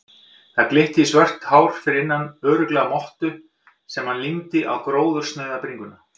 Það glitti í svört hár fyrir innan, örugglega mottu sem hann límdi á gróðursnauða bringuna.